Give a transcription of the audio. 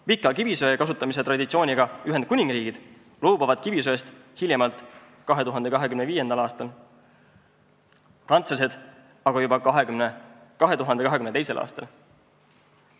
Pika kivisöe kasutamise traditsiooniga Ühendkuningriik loobub kivisöest hiljemalt 2025. aastal, prantslased aga juba 2022. aastal.